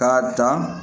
K'a dan